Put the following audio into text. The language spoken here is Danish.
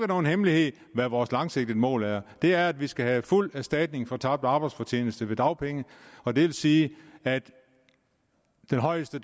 nogen hemmelighed hvad vores langsigtede mål er det er at vi skal have fuld erstatning for tabt arbejdsfortjeneste i dagpenge og det vil sige at den højeste